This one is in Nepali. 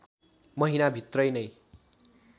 महिना भित्रै नै